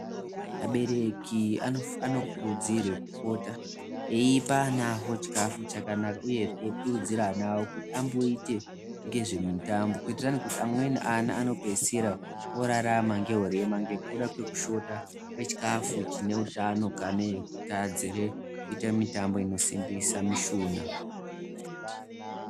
Abereki anokurudzirwe kupota eipa ana avo chikafu chakanaka, uye kukurudzira ana avo kuti amboite ngezve mitambo. Kuitirani kuti amweni ana anopedzisira orarama ngehurema ngekuda kwekushota kwechikafu chinehutano kanei kutadzire kuite mitambo inosimbisa mishuna.